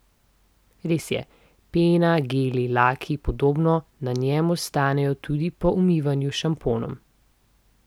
Res je, pena, geli, laki in podobno na njem ostanejo tudi po umivanju s šamponom.